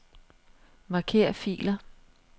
Marker filer.